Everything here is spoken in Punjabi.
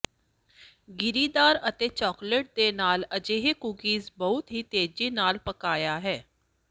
ਗਿਰੀਦਾਰ ਅਤੇ ਚਾਕਲੇਟ ਦੇ ਨਾਲ ਅਜਿਹੇ ਕੂਕੀਜ਼ ਬਹੁਤ ਹੀ ਤੇਜ਼ੀ ਨਾਲ ਪਕਾਇਆ ਹੈ